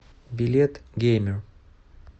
билет геймер